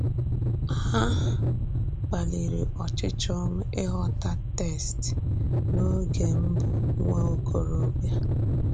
A kpalìrì ọchịchọ́ m ịghọ́tà text n’ógè m bụ̀ nwá òkòròbịa.